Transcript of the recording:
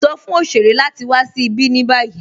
Sọ̀ fún oṣèrè láti wà sí ibi ní báyì.